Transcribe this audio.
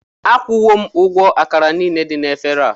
Akwụwo m ụgwọ àkàrà niile dị na éféré a